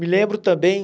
Me lembro também...